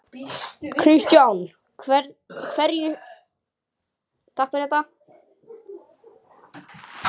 Kristján: Hverju sérðu mest eftir?